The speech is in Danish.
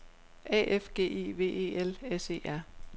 A F G I V E L S E R